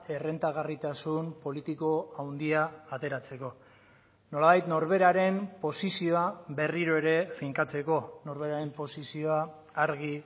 errentagarritasun politiko handia ateratzeko nolabait norberaren posizioa berriro ere finkatzeko norberaren posizioa argi